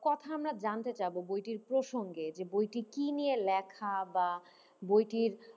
কথা আমরা জানতে চাবো বইটির প্রসঙ্গে যে বইটি কি নিয়ে লেখা বা বইটির,